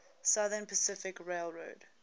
southern pacific railroad